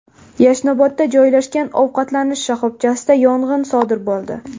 Yashnobodda joylashgan ovqatlanish shoxobchasida yong‘in sodir bo‘ldi.